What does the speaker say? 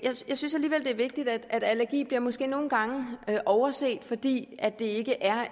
synes alligevel det er vigtigt allergi bliver måske nogle gange overset fordi det ikke er